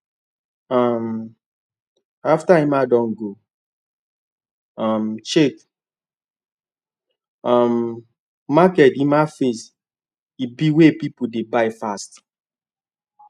um after emma don go um check um market emma face ebay wey people dey buy fast